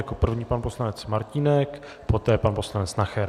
Jako první pan poslanec Martínek, poté pan poslanec Nacher.